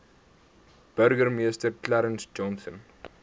burgemeester clarence johnson